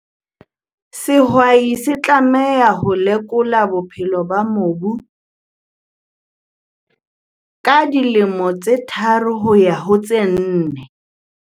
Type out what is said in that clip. Sehwai se tlameha ho lekola bophelo ba mobu ka dilemo tse tharo ho ya ho tse nne.